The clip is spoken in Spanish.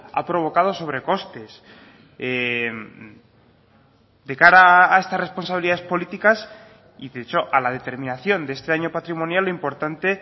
ha provocado sobrecostes de cara a estas responsabilidades políticas y de hecho a la determinación de este año patrimonial lo importante